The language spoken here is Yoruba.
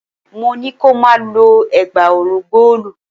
Mo ní kí o má lo ẹ̀gbá ọrùn góòlù.